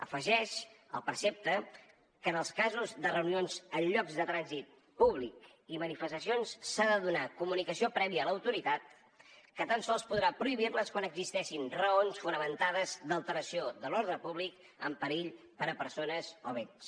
afegeix el precepte que en els casos de reunions en llocs de trànsit públic i manifestacions s’ha de donar comunicació prèvia a l’autoritat que tan sols podrà prohibir les quan existeixin raons fundades d’alteració de l’ordre públic amb perill per a persones i béns